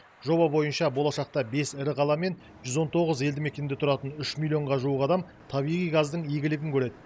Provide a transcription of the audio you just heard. жоба бойынша болашақта бес ірі қала мен жүз он тоғыз елді мекенде тұратын үш миллионға жуық адам табиғи газдың игілігін көреді